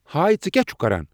ہاے ژٕکیٛاہ چھُکھ کران